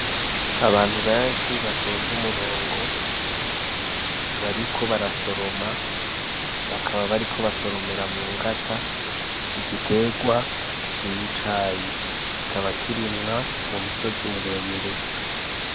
Abantu benshi batonze umurongo bariko barasoroma bakaba bariko basoromera mu ngata igitegwa c'icayi kikaba kirimwa mu misozi miremire.